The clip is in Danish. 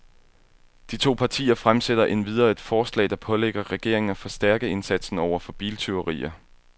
De to partier fremsætter endvidere et forslag, der pålægger regeringen af forstærke indsatsen over for biltyverier.